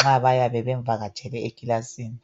nxa bayabe bemvakatshele ekilasini.